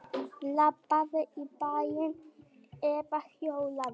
Labbaðu í bæinn eða hjólaðu.